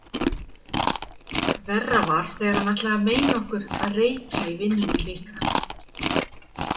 Verra var þegar hann ætlaði að meina okkur að reykja í vinnunni líka.